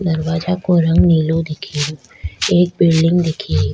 दरवाजो को रंग नीलो दिखरयो एक बिल्डिंग दिखेरी।